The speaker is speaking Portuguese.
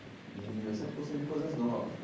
E eu sempre gostei de coisas novas.